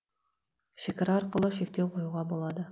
шекара арқылы шектеу қоюға болады